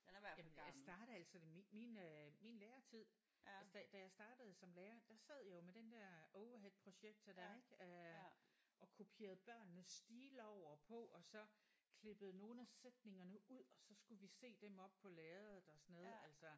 Jamen jeg startede altså min min øh min lærertid altså da da jeg startede som lærer der sad jeg jo med den der overheadprojektor der ik øh og kopierede børnenes stile over på og så klippede nogle af sætningerne ud og så skulle vi se dem oppe på lærredet og sådan noget altså